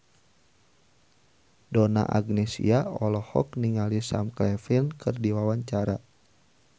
Donna Agnesia olohok ningali Sam Claflin keur diwawancara